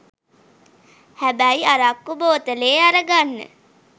හැබැයි අරක්කු බෝතලේ අරගන්න